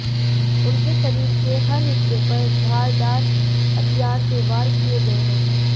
उनके शरीर के हर हिस्से पर धारदार हथियार से वार किये गये हैं